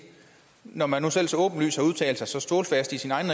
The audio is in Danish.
når man nu selv så åbenlyst har udtalt sig så stålfast i sin egen